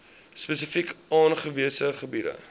spesifiek aangewese gebiede